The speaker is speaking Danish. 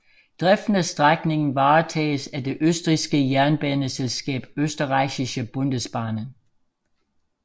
Driften af strækningen varetages af det østrigske jernbaneselskab Österreichische Bundesbahnen